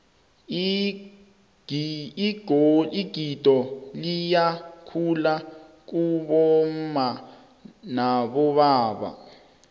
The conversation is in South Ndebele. igido liyahluka kibomma nabobaba